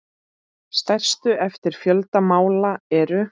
Stærstu eftir fjölda mála eru